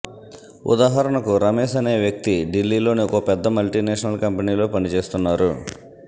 ఉదాహరణకు రమేష్ అనే వ్యక్తి ఢిల్లీలోని ఒక పెద్ద మల్టీ నేషనల్ కంపెనీలో పనిచేస్తున్నారు